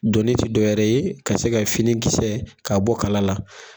Doni tɛ dɔ wɛrɛ ye ka se ka fini kisɛ ka bɔ kala la.